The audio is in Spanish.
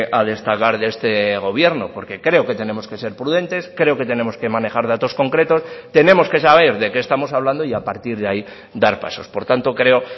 a destacar de este gobierno porque creo que tenemos que ser prudentes creo que tenemos que manejar datos concretos tenemos que saber de qué estamos hablando y a partir de ahí dar pasos por tanto creo